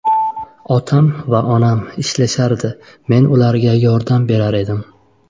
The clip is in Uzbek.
Otam va onam ishlashardi, men ularga yordam berardim.